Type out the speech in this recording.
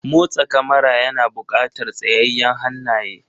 Motsa kamara yana buƙatar tsayayyen hannaye.